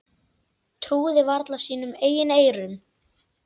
Trúði varla sínum eigin eyrum.